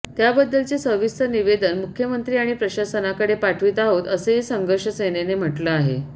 त्याबद्दलचे सविस्तर निवेदन मुख्यमंत्री आणि प्रशासनाकडे पाठवित आहोत असेही संघर्ष सेनेने म्हटलं आहे